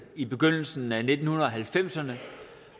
i begyndelsen af nitten halvfemserne